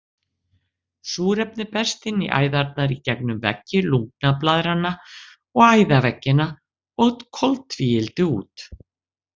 Súrefni berst inn í æðarnar í gegnum veggi lungnablaðranna og æðaveggina og koltvíildi út.